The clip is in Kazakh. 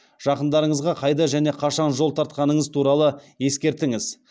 жақындарыңызға қайда және қашан жол тартқаныңыз туралы ескертіңіз